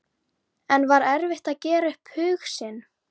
En var erfitt að gera upp hug sinn?